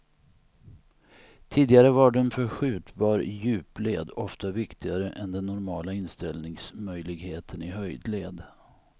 Tidigare var den förskjutbar i djupled, ofta viktigare än den normala inställningsmöljligheten i höjdled.